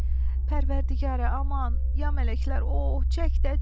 Pərvərdigara aman, ya mələklər, oh çək də, çək.